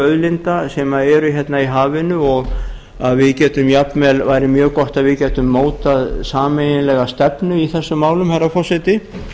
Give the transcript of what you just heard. auðlinda sem eru hérna í hafinu og það væri mjög gott að við gætum mótað sameiginlega stefnu í þessum málum herra forseti